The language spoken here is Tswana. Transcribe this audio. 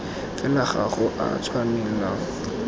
fela ga go a tshwanelwa